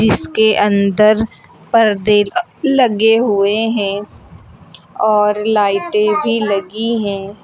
इसके अंदर पर्दे लगे हुए हैं और लाइटें भी लगी है।